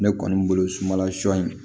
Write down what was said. Ne kɔni bolo sumanla sɔ in